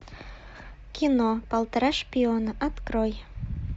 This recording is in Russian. кино полтора шпиона открой